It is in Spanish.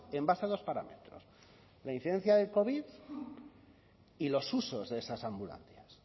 en base a dos parámetros la incidencia del covid y los usos de esas ambulancias